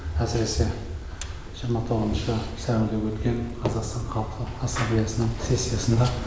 әсіресе жиырма тоғызыншы сәуірде өткен қазақстан халқы ассамблеясының сессиясында